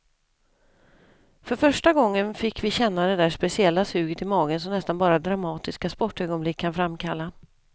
För första gången fick vi känna det där speciella suget i magen som nästan bara dramatiska sportögonblick kan framkalla.